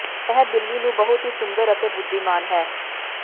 ਇਹ ਬਿੱਲੀ ਨੂੰ ਬਹੁਤ ਹੀ ਸੁੰਦਰ ਅਤੇ ਬੁੱਧੀਮਾਨ ਹੈ